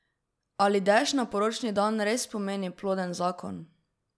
Ali dež na poročni dan res pomeni ploden zakon?